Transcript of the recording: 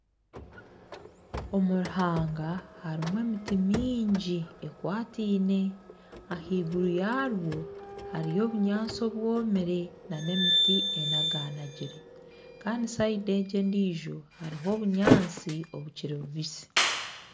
Omu ruhanga harimu emiti mingi ekwataine ahaiguru yarwo hariho obunyatsi obwomire nana emiti enaganagire kandi sayidi egi endiijo hariho obunyatsi obukiri bubisi